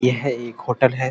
यह एक होटल है।